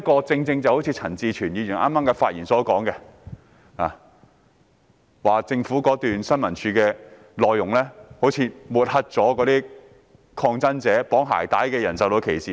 正如陳志全議員剛才發言時提到，政府新聞處的宣傳短片似乎抹黑了抗爭者，令綁鞋帶的人受到歧視。